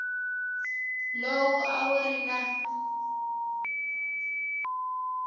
lowu a wu ri na